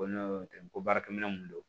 Ko ne tɛ ko baarakɛminɛn mun don